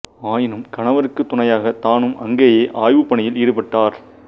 ஆயினும் கணவருக்குத் துணையாகக் தானும் அங்கேயே ஆய்வுப் பணியில் ஈடுப்பட்டார்